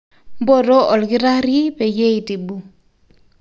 mboto olkitari peyie eitibu